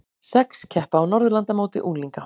Sex keppa á Norðurlandamóti unglinga